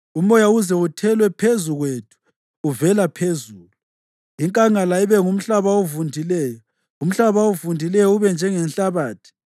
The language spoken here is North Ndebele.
umoya uze uthelwe phezu kwethu uvela phezulu, inkangala ibe ngumhlaba ovundileyo, umhlaba ovundileyo ube njengenhlabathi.